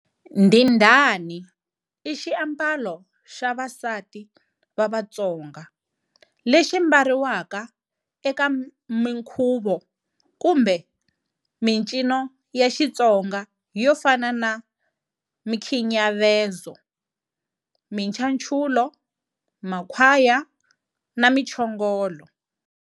,"Ndhindhani", i xiambalo xa vasati va Vatsonga, lexi mbariwaka eka munkhuvo, kumbe mincino ya Xitsonga yo fana na Mkhinyavezo, Minchachulo, Makhwaya na Minchongolo.